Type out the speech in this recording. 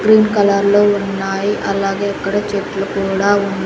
green కలర్లో ఉన్నాయి అలాగే అక్కడ చెట్లు కూడా ఉన్--